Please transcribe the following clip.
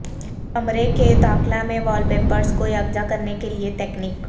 کمرے کے داخلہ میں وال پیپرز کو یکجا کرنے کے لئے تکنیک